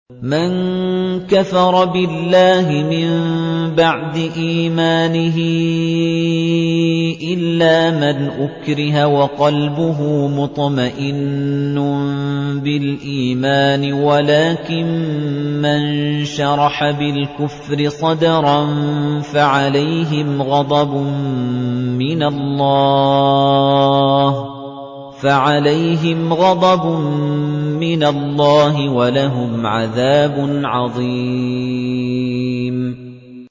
مَن كَفَرَ بِاللَّهِ مِن بَعْدِ إِيمَانِهِ إِلَّا مَنْ أُكْرِهَ وَقَلْبُهُ مُطْمَئِنٌّ بِالْإِيمَانِ وَلَٰكِن مَّن شَرَحَ بِالْكُفْرِ صَدْرًا فَعَلَيْهِمْ غَضَبٌ مِّنَ اللَّهِ وَلَهُمْ عَذَابٌ عَظِيمٌ